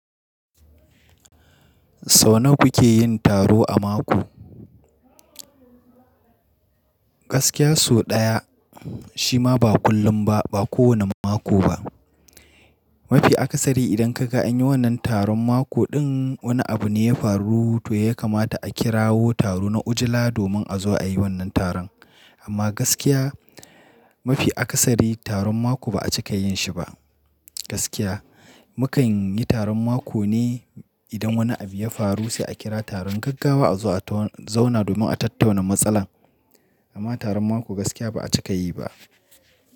Sau nawa kuke yin taro a mako? Gaskiya sau ɗaya, shi ma ba kullum ba, ba kowane mako ba. Mafi akasari idan ka ga an yi wannan taron mako ɗin wani abu ne ya faru to ya kamata a kirawo taro na ujila domin a zo a yi wannan taron. Amma gaskiya mafi akasari taron mako ba a cika yin shi ba. Gaskiya mu kan yi taron mako ne idan wani abu ya faru sai a kira taron gaggawa a zo a tauna zauna domin a tattauna matsalar. Amma taron mako gaskiya ba a cika yi ba.